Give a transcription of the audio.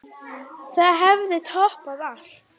Það hefði toppað allt.